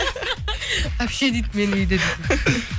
әпше дейді мені үйде